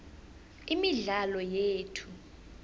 imidlalo yethu